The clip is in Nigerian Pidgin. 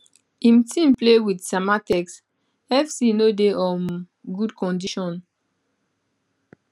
im team play wit samatex fc no dey um good condition